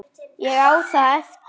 Ég á það eftir.